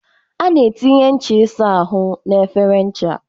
A na-etinye ncha ịsa ahụ na efere ncha